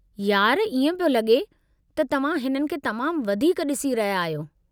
यार, इएं पियो लॻे त तव्हां हिननि खे तमामु वधीक ड्सीइ रहिया आहियो।